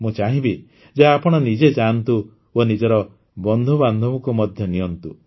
ମୁଁ ଚାହିଁବି ଯେ ଆପଣ ନିଜେ ଯାଆନ୍ତୁ ଓ ନିଜର ବନ୍ଧୁବାନ୍ଧବଙ୍କୁ ମଧ୍ୟ ନିଅନ୍ତୁ